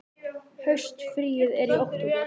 Haustfríið er í október.